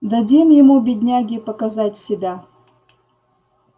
дадим ему бедняге показать себя